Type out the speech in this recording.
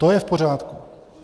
To je v pořádku.